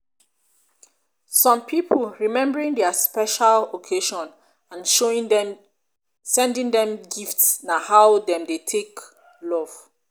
some pipo remembering their special occasion and sending dem gifts na how dem dey take love